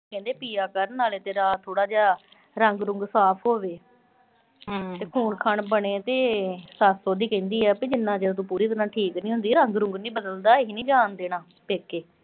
ਕਹਿੰਦੇ ਪੀਆ ਕਰ। ਨਾਲੇ ਤੇਰਾ ਥੋੜਾ ਜਾ ਰੰਗ-ਰੁੰਗ ਸਾਫ਼ ਹੋਜੇ। ਤੇ ਖੂਨ-ਖਾਨ ਬਣੇ ਤੇ ਸੱਸ ਉਹਦੀ ਕਹਿੰਦੀ ਆ, ਵੀ ਜਿੰਨਾ ਚਿਰ ਤੂੰ ਪੂਰੀ ਤਰ੍ਹਾਂ ਠੀਕ ਨੀਂ ਹੁੰਦੀ, ਰੰਗ-ਰੁੰਗ ਨੀਂ ਬਦਲਦਾ, ਅਸੀਂ ਨੀਂ ਜਾਣ ਦੇਣਾ ਪੇਕੇ।